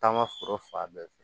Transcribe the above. Taama foro fan bɛɛ fɛ